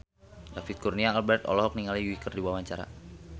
David Kurnia Albert olohok ningali Yui keur diwawancara